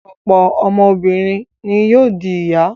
Ọ̀pọ̀ ọmọbìnrin ni yóò di ìyá.